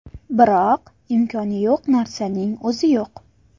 Biroq imkoni yo‘q narsaning o‘zi yo‘q.